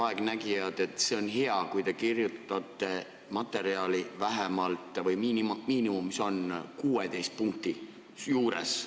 Nad rääkisid, et see on hea, kui materjal kirjutatakse vähemalt 16-punktises kirjas.